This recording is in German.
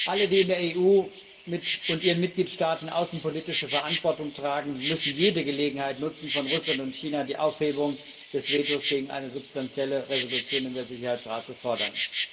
Alle, die in der EU und ihren Mitgliedstaaten außenpolitische Verantwortung tragen, müssen jede Gelegenheit nutzen, von Russland und China die Aufhebung des Vetos gegen eine substanzielle Resolution im Weltsicherheitsrat zu fordern.